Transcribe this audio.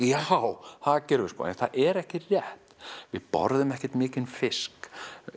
já það gerum við en það er ekki rétt við borðum ekki mikinn fisk